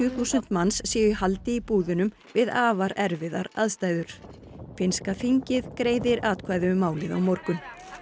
þúsund manns séu í haldi í búðunum við afar erfiðar aðstæður finnska þingið greiðir atkvæði um málið á morgun